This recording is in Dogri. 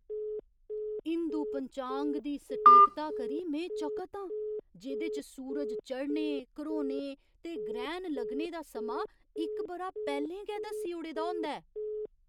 हिंदू पंचांग दी सटीकता करी में चकत आं जेह्‌दे च सूरज चढ़ने, घरोने ते ग्रैह्ण लग्गने दा समां इक बरा पैह्‌लें गै दस्सी ओड़े दा होंदा ऐ ।